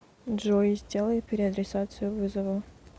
джой сделай переадресацию вызова